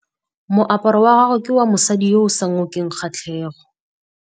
Moaparô wa gagwe ke wa mosadi yo o sa ngôkeng kgatlhegô.